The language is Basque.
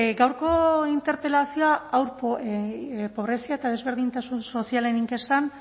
gaurko interpelazioa pobrezia eta desberdintasun sozialen inkestan